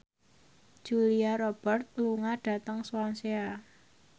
Julia Robert lunga dhateng Swansea